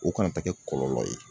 O kana taa kɛ kɔlɔlɔ ye.